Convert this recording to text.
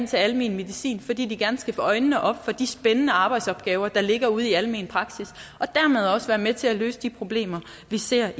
til almen medicin fordi de gerne skulle få øjnene op for de spændende arbejdsopgaver der ligger ude i almen praksis og dermed også være med til at løse de problemer vi ser